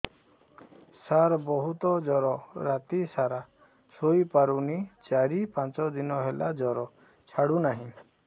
ସାର ବହୁତ ଜର ରାତି ସାରା ଶୋଇପାରୁନି ଚାରି ପାଞ୍ଚ ଦିନ ହେଲା ଜର ଛାଡ଼ୁ ନାହିଁ